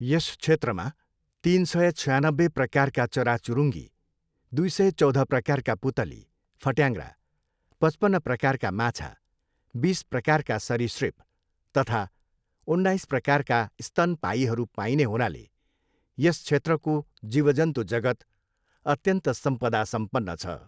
यस क्षेत्रमा तिन सय छयानब्बे प्रकारका चराचुरुङ्गी, दुई सय चौध प्रकारका पुतली, फट्याङ्ग्रा, पचपन्न प्रकारका माछा, बिस प्रकारका सरीसृप तथा उन्नाइस प्रकारका स्तनपायीहरू पाइने हुनाले यस क्षेत्रको जीवजन्तु जगत् अत्यन्त सम्पदा सम्पन्न छ।